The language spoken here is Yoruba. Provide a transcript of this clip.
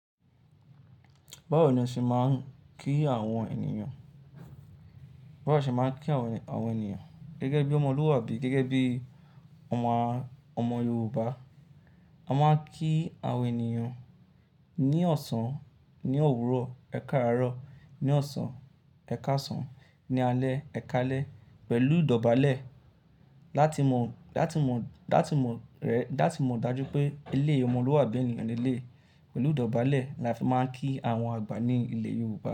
Báwo ni a ṣe máa ń kí àwọn ènìyàn? Báwa ṣe máa ń kí àwọn ènìyàn gẹ́gẹ́ bí ọmọlúwàbí gẹ́gẹ́ bí ọmọ, ọmọ Yorùbá? A máa ń kí àwọn ènìyàn ní ọ̀sán, ní òwúrọ̀, ẹ káàárọ̀, ní ọ̀sán, ẹ káàsán, ní alẹ́, ẹ káalẹ́ pẹ̀lú ìdọ̀bálẹ̀ láti mọ, láti mọ, láti mọ rẹ, láti mọ ìdájú pé eléyìí ọmọlúwàbí ni ènìyàn eléyìí. Pẹ̀lú ìdọ̀bálẹ̀ la fi máa ń kí àwọn àgbà ní ilẹ̀ Yorùbá.